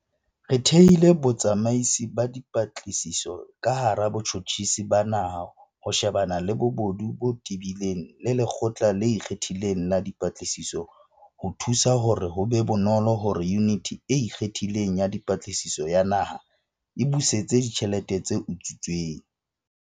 Re thehile Botsamaisi ba Dipatlisiso ka hara Botjhotjhisi ba Naha ho shebana le bobodu bo tebileng le Lekgotla le Ikgethileng la Dipatlisiso ho thusa hore ho be bonolo hore Yuniti e Ikgethileng ya Dipatlisiso ya Naha e busetse ditjhelete tse utswitsweng.